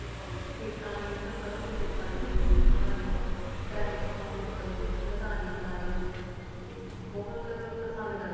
ਖੇਤਾਂ ਦੀ ਸਰੋ ਦੇ ਖੇਤਾਂ ਦੀ ਬਣਾਇਆ ਚਾਹੇ ਓਹ ਮੈਦਾਨੀ ਚਲਣੀ ਹੋਵੇ ਤੇ ਬਹੁਤ ਪਸੰਦ ਕਰਦੇ ਐ